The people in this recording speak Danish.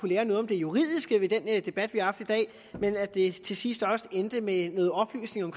lære noget om det juridiske ved den debat vi har haft i dag men at det til sidst også endte med noget oplysning om